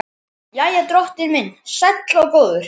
Jæja, drottinn minn sæll og góður.